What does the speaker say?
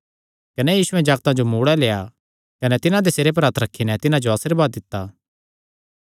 कने यीशुयैं जागतां जो मूड़ै लेआ कने तिन्हां दे सिरे पर हत्थ रखी नैं तिन्हां जो आशीर्वाद दित्ता